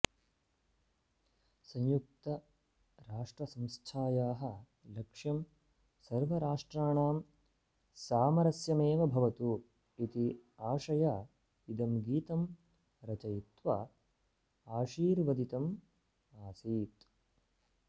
संयुक्तराष्ट्रसंस्थायाः लक्ष्यं सर्वराष्ट्राणां सामरस्यमेव भवतु इति आशया इदं गीतं रचयित्वा आशीर्वदितम् आसीत्